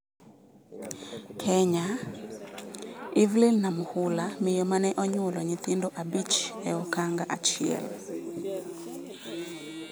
Kenya: Evelyn Namukhula, miyo mane onyuolo nyithindo abich e okang' achiel